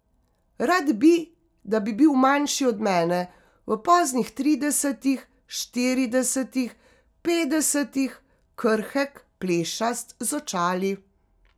Rad bi, da bi bil manjši od mene, v poznih tridesetih, štiridesetih, petdesetih, krhek, plešast, z očali.